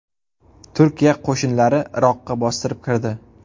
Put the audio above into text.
Turkiya qo‘shinlari Iroqqa bostirib kirdi.